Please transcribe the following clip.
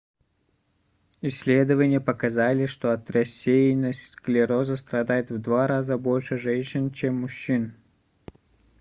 исследования показали что от рассеянного склероза страдает в два раза больше женщин чем мужчин